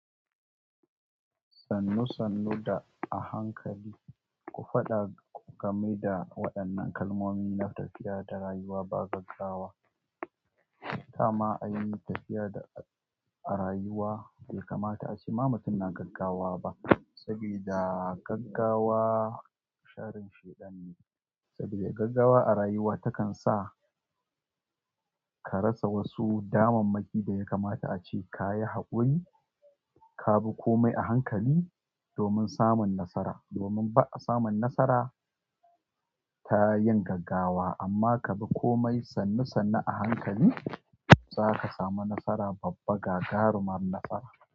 Sannu sannu da a hankali ku faɗa, ku game da waɗannan kalmomi na tafiya da rayuwa ba gaggawa. Dama a yi tafiya da a rayuwa, bai kamata a ce ma mutum na gaggawa ba. Saboda gaggawa sharin shaiɗan ne. Saboda gaggawa a rayuwa takan sa ka rasa wasu damammaki da ya kamata ace ka yi haƙuri. Ka bi komai a hankali domin samun nasara. Domin ba a samun nasara ta yin gaggawa, amma ka bi komai sannu sannu a hankali za ka samu nasara babba gagarumar nasara.